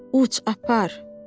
uç, atım, apar.